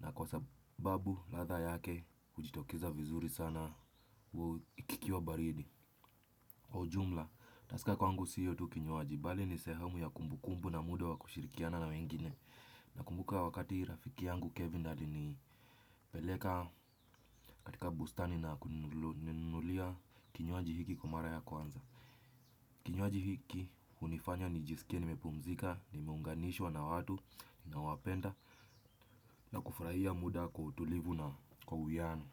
Na kwa sababu latha yake ujitokeza vizuri sana kukiwa baridi kwa ujumla, taska kwangu siyo tu kinywaji bali ni sehemu ya kumbu kumbu na muda wa kushirikiana na wengine. Nakumbuka wakati rafiki yangu Kevin alinipeleka katika bustani na kununulia kinywaji hiki kwa mara ya kwanza. Kinywaji hiki unifanya nijisikie nimepumzika, nimeunganishwa na watu, ninaowapenda na kufuraia muda kutulivu na kwa uwiano.